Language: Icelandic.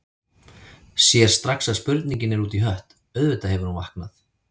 Sér strax að spurningin er út í hött, auðvitað hefur hún vaknað.